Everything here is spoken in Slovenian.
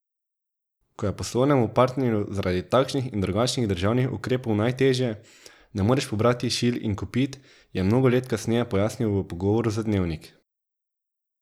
Ko je poslovnemu partnerju zaradi takšnih in drugačnih državnih ukrepov najtežje, ne moreš pobrati šil in kopit, je mnogo let kasneje pojasnil v pogovoru za Dnevnik.